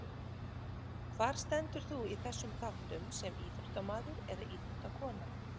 Hvar stendur þú í þessum þáttum sem íþróttamaður eða íþróttakona?